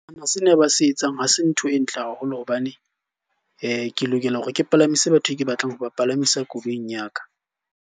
Sena ba se etsang, ha se ntho e ntle haholo hobane ke lokela hore ke palamise batho e ke batlang ho ba palamisa koloing ya ka.